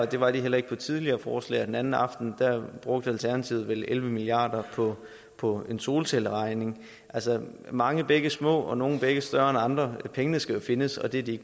det var de heller ikke på et tidligere forslag og den anden aften brugte alternativet vel elleve milliard kroner på en solcelleregning altså mange bække små og nogle bække større end andre pengene skal jo findes og det er de